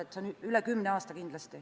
See on kindlasti üle kümne aasta.